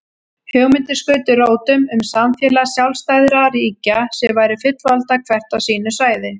Hugmyndir skutu rótum um samfélag sjálfstæðra ríkja sem væru fullvalda hvert á sínu svæði.